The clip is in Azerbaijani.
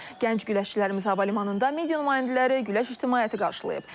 Gənc güləşçilərimizi hava limanında media nümayəndələri, güləş ictimaiyyəti qarşılayıb.